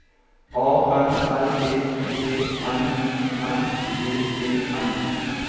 A N L E D N I N G E N